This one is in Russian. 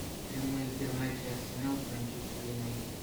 прямой эфир матча арсенал с манчестер юнайтед